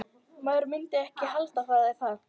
Maður myndi ekki halda það, er það?